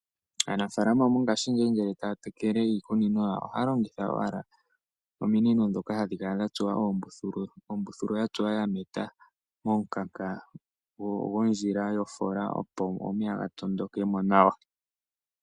Aanafaalama mongashingeyi ngele ya ya tekele iikunino yawo, oha ya lonhitha owala, ominino ndhoka ha dhi kala dha tsuwa oombuthulu, ya tsuwa ya meta momukanka dhondkila yo foola, opo omeya ga tondokemo nawa.